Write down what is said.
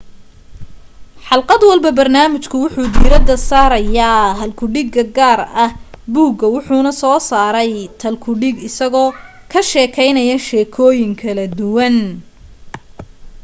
xalqad walba barnaamijka wuxuu diirada saaraya hal ku dhiga gaar ah buuga wuxuna soo saaray thal ku dhig isagoo ka sheekaynaya sheekooyin kala duwan